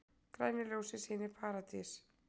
Græna ljósið sýnir í Paradís